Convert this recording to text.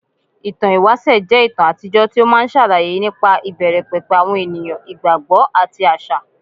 Ìtàn ìwáṣẹ̀ jẹ́ ìtàn àtijọ́ tí ó máa ń ṣàlàyé nípa ìbẹ̀rẹ̀ pẹ̀pẹ̀ àwọn ènìyàn, ìgbàgbọ́, àti àṣà.